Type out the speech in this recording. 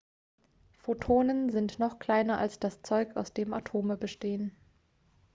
photonen sind noch kleiner als das zeug aus dem atome bestehen